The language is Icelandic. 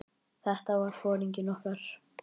Þetta var foringinn okkar.